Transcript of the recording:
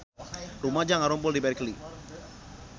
Rumaja ngarumpul di Berkeley